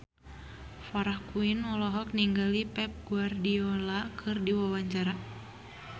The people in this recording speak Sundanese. Farah Quinn olohok ningali Pep Guardiola keur diwawancara